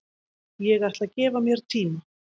Ég ætla að gefa mér tíma